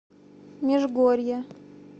межгорье